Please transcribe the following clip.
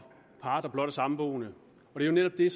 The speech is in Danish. par der blot er samboende det er jo netop